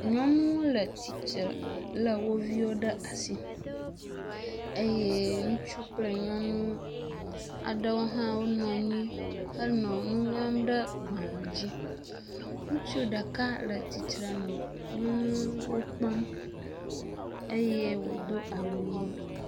Nyɔnu le tsitre le wo viwo ɖe asi eye ŋutsu kple nyɔnu aɖewo hã nɔ anyi henɔ nu ŋlɔm ɖe gbale dzi. Ŋutsu ɖeka le tsitrenu nɔ wo kpɔm eye wodo awu ʋi.